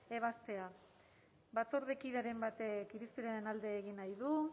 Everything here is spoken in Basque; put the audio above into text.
ebazpena batzordekideren batek irizpenaren alde egin nahi du